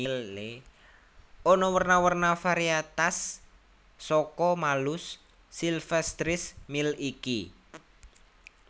Ana werna werna variétas saka Malus sylvestris Mill iki